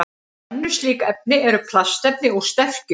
Önnur slík efni eru plastefni úr sterkju.